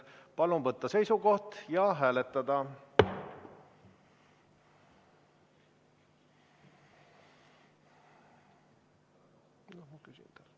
Palun võtta seisukoht ja hääletada!